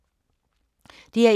DR1